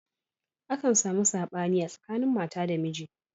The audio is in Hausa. Akan samu saɓani a tsakanin mata da miji.